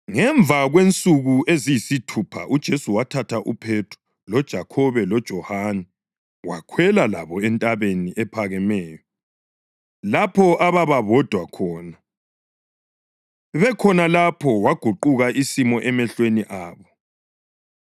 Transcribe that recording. Ngemva kwensuku eziyisithupha uJesu wathatha uPhethro, loJakhobe loJohane wakhwela labo entabeni ephakemeyo lapho ababa bodwa khona. Bekhona lapho waguquka isimo emehlweni abo.